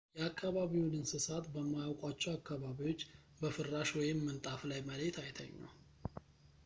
የአከባቢውን እንስሳት በማያውቋቸው አካባቢዎች በፍራሽ ወይም ምንጣፍ ላይ መሬት አይተኙ